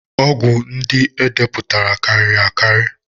Ọgwụ ndị e depụtara karịrị akarị